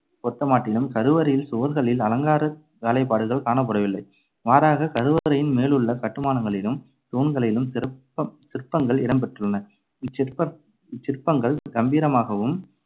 பொருத்தமாட்டிலும் கருவறையின் சுவர்களில் அலங்கார வேலைப்பாடுகள் காணப்படவில்லை. மாறாகக் கருவறையின் மேலுள்ள கட்டுமானங்களிலும் தூண்களிலும் சிற்ப~ சிற்பங்கள் இடம் பெற்றுள்ளன. இச்சிற்ப~ இச்சிற்பங்கள் கம்பீரமாகவும்,